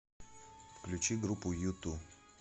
включи группу юту